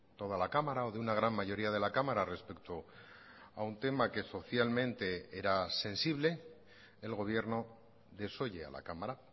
toda la cámara o de una gran mayoría de la cámara respecto a un tema que socialmente era sensible el gobierno desoye a la cámara